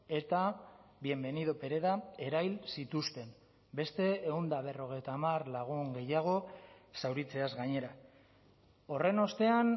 eta bienvenido pereda erahil zituzten beste ehun eta berrogeita hamar lagun gehiago zauritzeaz gainera horren ostean